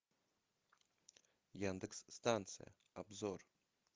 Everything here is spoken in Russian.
яндекс станция обзор